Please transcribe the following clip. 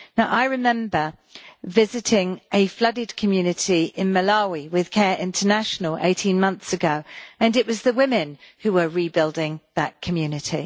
I remember visiting a flooded community in Malawi with CARE International 18 months ago, and it was the women who were rebuilding that community.